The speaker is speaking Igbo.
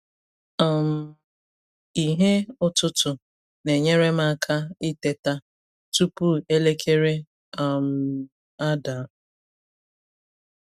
um Ìhè ụtụtụ na-enyere m aka iteta tupu elekere um ada.